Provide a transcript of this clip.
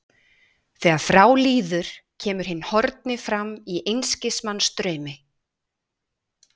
Þegar frá líður kemur hinn horfni fram í einskis manns draumi.